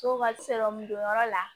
Soba donyɔrɔ la